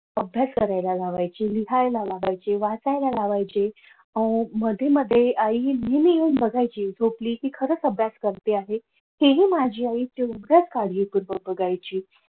अभ्यास करायला लावायची लिहायला लावायची वाचायला लावायची अह मध्ये मध्ये आई मध्ये येऊन बघायची कि झोपली कि खरच अभ्यास करत आहे तेही माझी आई कार्य तेव्हा बघायची.